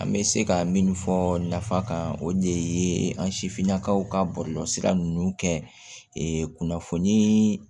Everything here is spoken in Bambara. An bɛ se ka min fɔ nafa kan o de ye an sifinnakaw ka bɔlɔlɔsira ninnu kɛ kunnafoni